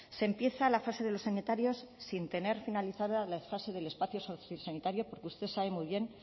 se empieza la fase de los sanitarios sin tener finalizada la fase del espacio sociosanitario porque usted sabe muy bien